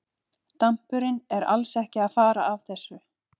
Dampurinn er alls ekki að fara af þessu.